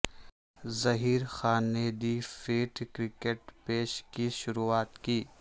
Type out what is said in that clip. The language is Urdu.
ظہیرخان نے دی فیرٹ کرکٹ بیش کی شروعات کی